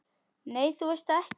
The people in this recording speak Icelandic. Nei, þú veist það ekki.